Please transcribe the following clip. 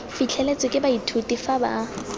fitlheletswe ke baithuti fa ba